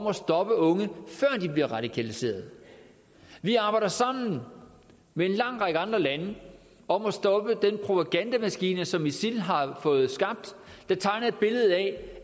at stoppe unge før de bliver radikaliseret vi arbejder sammen med en lang række andre lande om at stoppe den propagandamaskine som isil har fået skabt der tegner et billede af